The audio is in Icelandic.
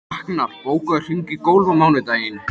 Raknar, bókaðu hring í golf á mánudaginn.